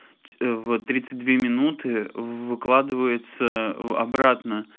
в тридцать две минуты выкладывается обратно